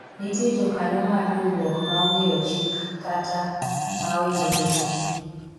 nitie jokanyo mar riwruok ma ong'eyo chik kata ma oingo jotendgi